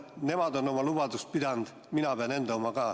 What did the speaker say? Nemad on oma lubadust pidanud, mina pean enda oma ka.